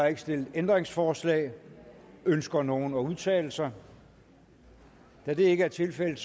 ikke stillet ændringsforslag ønsker nogen at udtale sig da det ikke er tilfældet